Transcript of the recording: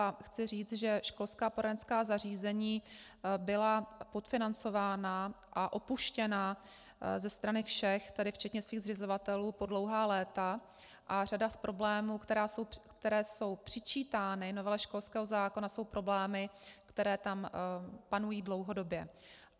A chci říct, že školská poradenská zařízení byla podfinancována a opuštěna ze strany všech, tedy včetně svých zřizovatelů, po dlouhá léta a řada z problémů, které jsou přičítány novele školského zákona, jsou problémy, které tam panují dlouhodobě.